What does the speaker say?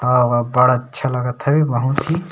आऊ अब्बड़ अच्छा लगत हे बहुत ही